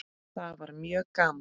Það var mjög gaman.